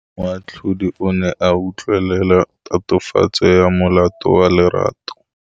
Moatlhodi o ne a utlwelela tatofatsô ya molato wa Lerato.